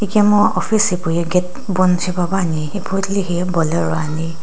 ikemu office hipauye gate bon shipepuani ipu tilehi bolero ani.